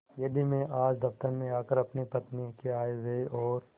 यदि मैं आज दफ्तर में आकर अपनी पत्नी के आयव्यय और